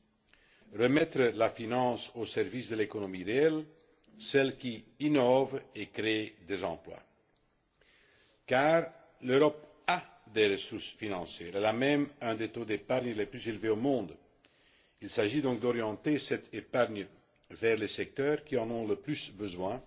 Il s'agit de remettre la finance au service de l'économie réelle, celle qui innove et crée des emplois. Car l'Europe a des ressources financières, elle a même un des taux d'épargne les plus élevés au monde. Il s'agit donc d'orienter cette épargne vers les secteurs qui en ont le plus besoin